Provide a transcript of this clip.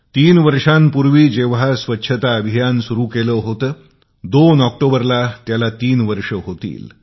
तीन वर्षांपूर्वी जेंव्हा स्वच्छता अभियान सुरू केले होते 2 ऑक्टोबरला तीन वर्ष होतील